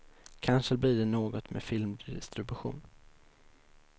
Kanske blir det något med filmdistribution.